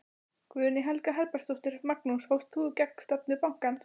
Guðný Helga Herbertsdóttir: Magnús fórst þú gegn stefnu bankans?